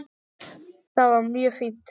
Það var mjög fínt.